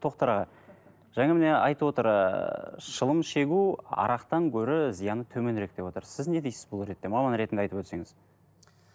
тоқтар аға жаңа міне айтып отыр ыыы шылым шегу арақтан гөрі зияны төменірек деп отыр сіз не дейсіз бұл ретте маман ретінде айтып өтсеңіз